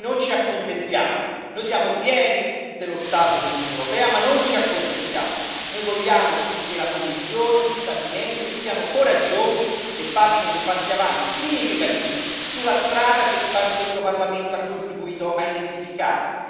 Noi non ci accontentiamo, noi siamo fieri dello stato dell'Unione europea ma non ci accontentiamo, noi vogliamo che la Commissione e gli Stati membri siano coraggiosi e facciano passi in avanti significativi sulla strada che questo Parlamento ha contribuito a identificare.